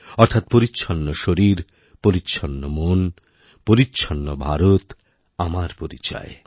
অর্থাৎ পরিচ্ছন্ন শরীরপরিচ্ছন্ন মন পরিচ্ছন্ন ভারত আমার পরিচয়